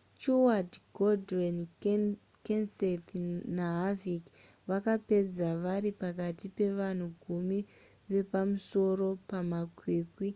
stewart gordon kenseth naharvick vakapedza vari pakati pevanhu gumi vepamusoro pamakwikwi